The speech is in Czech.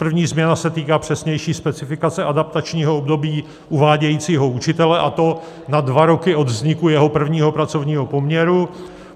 První změna se týká přesnější specifikace adaptačního období uvádějícího učitele, a to na dva roky od vzniku jeho prvního pracovního poměru.